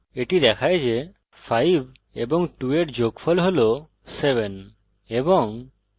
এটি দেখায় যে 5 এবং 2 এর যোগফল হল 700 এবং